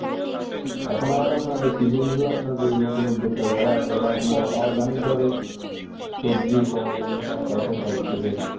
এখন আবার আপনার ওই কিছু কিছু যে নতুন উদ্যোগ তা আছে ইটা আপনার organic ভাবে সবজি ফল এগুলা চাষ করার চেষ্টা করতাছে